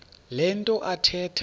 le nto athetha